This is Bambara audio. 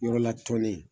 Yɔrɔla tɔn ne